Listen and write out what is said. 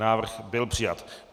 Návrh byl přijat.